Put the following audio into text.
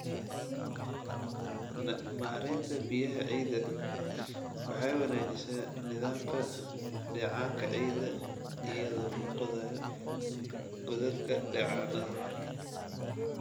"Maareynta Biyaha Ciidda Waxay wanaajisaa nidaamka dheecaanka ciidda iyadoo la qodayo godadka dheecaannada.